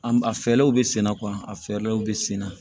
An a fɛlɛw bɛ senna a fɛɛrɛw bɛ senna